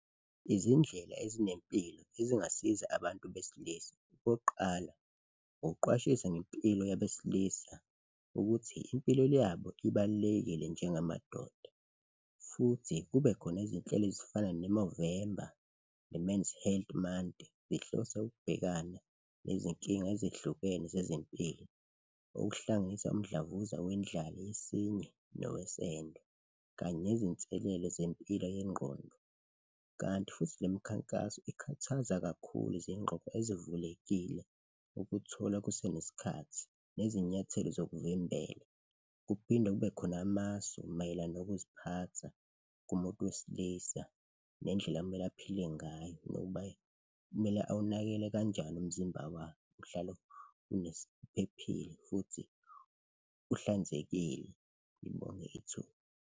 Izindlela ezinempilo ezingasiza abantu besilisa, okokuqala ukuqwashisa ngempilo yabesilisa ukuthi impilo yabo ibalulekile njengamadoda futhi kubekhona izinhlelo ezifana ne-Movember ne-Men's Health Month, zihlose ukubhekana nezinkinga ezehlukene zezempilo, okuhlanganisa umdlavuza wendlaliyesinye nowesende kanye nezinselele zempilo yengqondo. Kanti futhi le mikhankaso ikhuthaza kakhulu izingqogqo ezivulekile ukuthola kusenesikhathi nezinyathelo zokuvimbele kuphinde kube khona amasu mayelana nokuziphatha kumuntu wesilisa nendlela ekumele aphile ngayo nokuba kumele awunakekele kanjani umzimba wakhe, uhlale uphephile futhi uhlanzekile. Ngibonge ithuba.